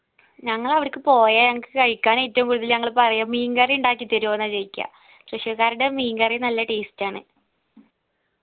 ഞങ്ങളവടക്ക് പോയെ ഞങ്ങക്ക് കഴിക്കാനായിട്ട് പൂതി ഞങ്ങൾ പറയാ മീൻകറി ഇണ്ടാക്കി തരുവോന്ന ചോയ്ക്ക്യ തൃശൂർക്കാരുടെ മീൻകറി നല്ല taste ആണ്